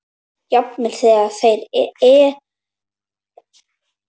Jafnvel þegar þér leið illa.